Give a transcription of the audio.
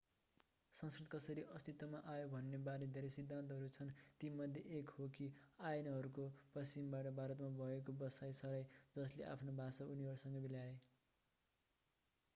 संस्कृत कसरी अस्तित्वमा आयो भन्ने बारे धेरै सिद्धान्तहरू छन् तीमध्ये एक यो हो कि आर्यनहरूको पश्चिमबाट भारतमा भएको बसाइ सराइ जसले आफ्नो भाषा उनीहरूसँगै ल्याए